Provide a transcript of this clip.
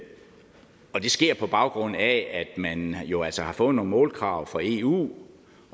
sker på baggrund af at man jo altså har fået nogle målkrav fra eu